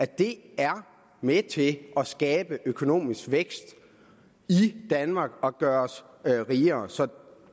det er med til at skabe økonomisk vækst i danmark og gøre os rigere så